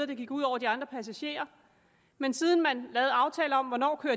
det gik ud over de andre passagerer men siden man lavede aftaler om hvornår